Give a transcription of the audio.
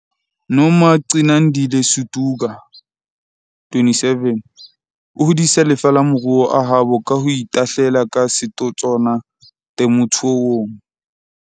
Nomagcinandile Suduka, 27, o hodisa lefa le maruo a habo ka ho itahlela ka setotswana temothuong.